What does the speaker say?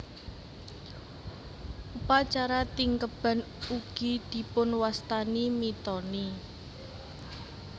Upacara Tingkeban ugi dipunwastani mitoni